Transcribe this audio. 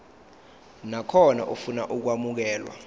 nakhona ofuna ukwamukelwa